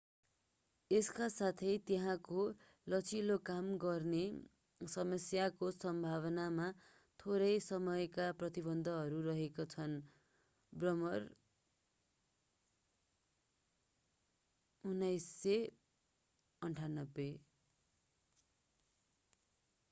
यसका साथै त्यहाँको लचिलो काम गर्ने समयको सम्भावनामा थोरै समयका प्रतिबन्धहरू रहेका छन्। ब्रेमर 1998